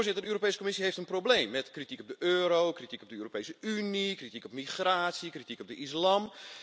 De Europese Commissie heeft een probleem met kritiek op de euro, kritiek op de Europese Unie, kritiek op migratie, kritiek op de islam.